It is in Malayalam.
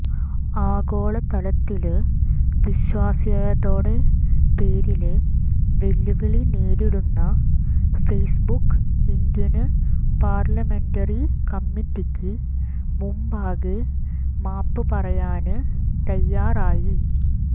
ആഗോളതലത്തില് വിശ്വാസ്യയതയുടെ പേരില് വെല്ലുവിളി നേരിടുന്ന ഫെയ്സ്ബുക്ക് ഇന്ത്യന് പാര്ലമെന്ററി കമ്മറ്റിയ്ക്ക് മുമ്പാകെ മാപ്പ് പറയാന് തയ്യാറായി